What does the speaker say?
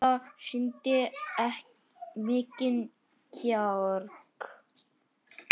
Þetta sýndi mikinn kjark.